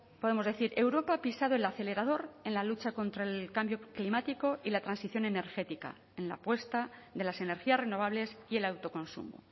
podemos decir europa ha pisado el acelerador en la lucha contra el cambio climático y la transición energética en la apuesta de las energías renovables y el autoconsumo